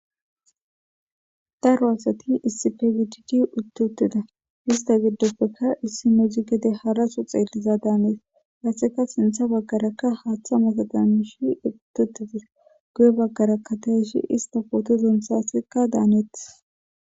Daro asati issipgididi uttuttida ista giddospekka issi mudzi gede haraso xeelliza daanees hasseka sintha baggarakka haaththa mata damishi ututidis guye baggaraka ta ishi ista qooto dentsasekka daanetis.